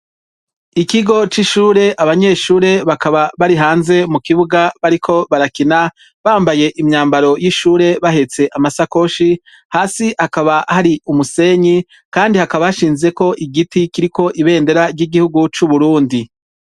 Ikigo c'ishure abanyeshure bakaba bari hanze mukibuga bariko barakina ,bambaye imyambaro y'ishure bahetse amasakoshi, hasi hakaba hari umusenyi kandi hakaba hashinze ko igiti kiriko ibendera ry'igihugu c'Uburundi .